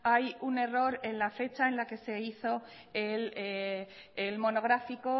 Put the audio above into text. hay un error en la fecha en la que se hizo el monográfico